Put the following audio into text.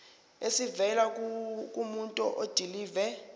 esivela kumuntu odilive